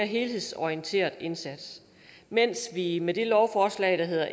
helhedsorienteret indsats mens vi med det lovforslag der hedder